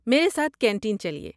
میرے ساتھ کینٹین چلئے۔